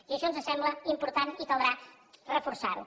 i això ens sembla important i caldrà reforçar ho